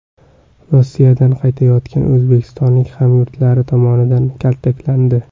Rossiyadan qaytayotgan o‘zbekistonlik hamyurtlari tomonidan kaltaklandi.